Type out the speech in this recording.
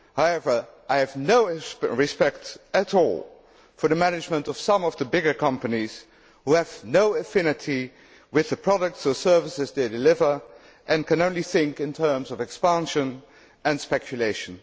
However, I have no respect at all for the management of some of the bigger companies which have no affinity with the products or services they deliver and can only think in terms of expansion and speculation.